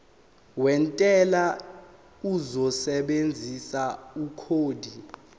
wentela uzosebenzisa ikhodi